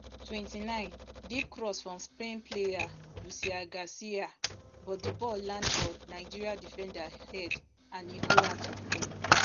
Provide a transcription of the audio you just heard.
twenty-nine deep cross from spain player lucia garcia but di ball land for nigeria defender head and e go out of play